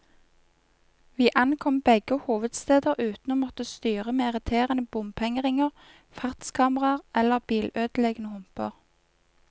Vi ankom begge hovedsteder uten å måtte styre med irriterende bompengeringer, fartskameraer eller bilødeleggende humper.